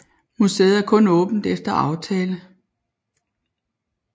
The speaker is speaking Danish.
Museet er kun åbent efter aftale